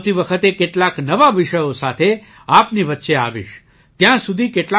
આવતી વખતે કેટલાક નવા વિષયો સાથે આપની વચ્ચે આવીશ ત્યાં સુધી